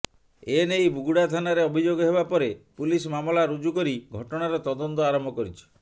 ଏନେଇ ବୁଗୁଡ଼ା ଥାନାରେ ଅଭିଯୋଗ ହେବା ପରେ ପୁଲିସ ମାମଲା ରୁଜୁ କରି ଘଟଣାର ତଦନ୍ତ ଆରମ୍ଭ କରିଛି